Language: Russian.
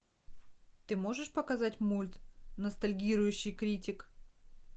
ты можешь показать мульт ностальгирующий критик